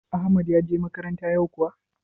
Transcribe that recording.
Ahmad ya je makaranta yau kuwa?